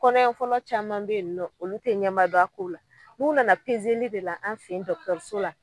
Kɔnɔ ɲɛfɔlɔ caman be ye nɔ olu te ɲɛnba don a ko la n'u nana pezeli de la an fe yen dɔkutɔruso la